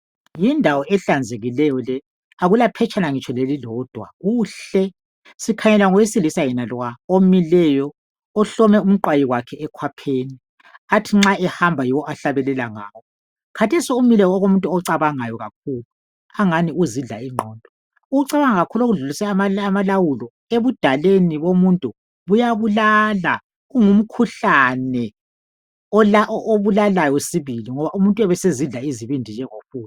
yindawo ehlanzekileyo le akula phetshana ngitsho lelilodwa kuhle sikhangela owesilisa yenalwa omileyo ohlome umqwayi wakhe ekhwapheni athi nxa ehamba yiwo ahlabelela ngawo khathesi umile okomuntu ocabangayo kakhulu angani uzidla ingqondo ukucabanga kakhulu okudlulise amalawulo ekudalweni komuntu kuyabulala kungumkhuhlane obulalayo sibili ngoba umuntu uyabe esezidla izibindi.